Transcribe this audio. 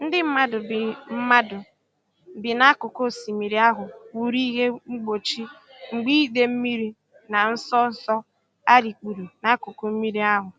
Ndị mmadụ bi mmadụ bi n'akụkụ osimiri ahụ wuru ihe mgbochi mgbe idei mmiri na nso nso a rikpuru n'akụkụ mmiri ahụ.